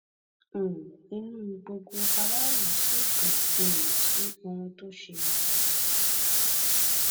um inú gbogbo aráàlú sì dùn um sí ohun tó ṣe